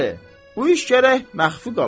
Bəli, bu iş gərək məxfi qala.